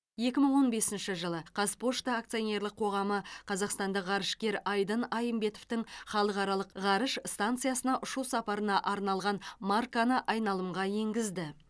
екі мың он бесінші жылы қазпошта акционерлік қоғамы қазақстандық ғарышкер айдын айымбетовтің халықаралық ғарыш станциясына ұшу сапарына арналған марканы айналымға енгізді